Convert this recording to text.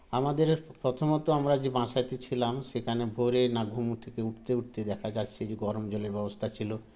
আমাদের প্রথমত আমরা যে বাসাতে ছিলাম সেখানে ভোরে না ঘুম থেকে উঠতে উঠতে দেখা যাচ্ছে যে গরম জলের ব্যবস্থা ছিল